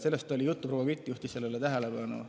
Sellest oli juttu, proua Kütt juhtis sellele tähelepanu küll.